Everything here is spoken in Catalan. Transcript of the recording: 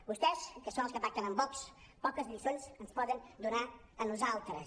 vostès que són els que pacten amb vox poques lliçons ens poden donar a nosaltres